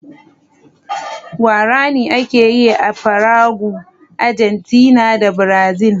Guaraní ake yi a Paraguay, Argentina da Brazil